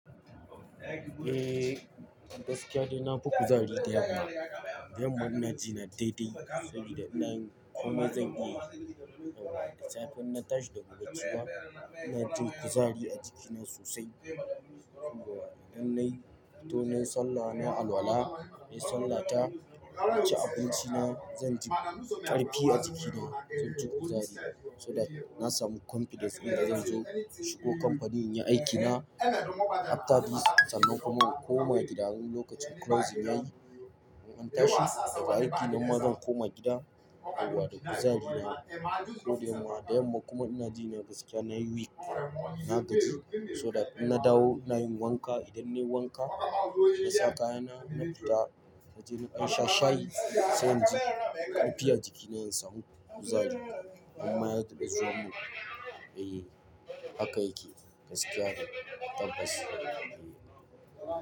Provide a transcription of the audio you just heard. Eh, gaskiya dai na fi kuzari da yamma. Da yamma ina ji na daidai saboda ina yin komai zan iya, yauwa da safe in na tashi daga bacci ba, ina jin kuzari a jikina sosai. Idan nayi fotonin Sallah na alwala, nayi Sallah ta, na ci abinci na, zan ji ƙarfi a jikina. Zan ji kuzari, so that na samu confidence dun da zan zo in shigo kamfani in yi aikina apta dis. Sannan kuma in koma gida wani in lokacin kilosin yayi, in an tashi daga aiki nima zan koma gida da kuzari na. Ko da yamma. Da yamma kuma ina ji na gaskiya nayi weak, na gaji so that in na dawo ina yin wanka. Idan nayi wanka, na sa kayana, na fita na je na ɗan sha shayi, sai inji ƙarfi a jikina in sama kuzari. In ma ya taɓa zuwa mu, eh haka yake gaskiya dai tabbas.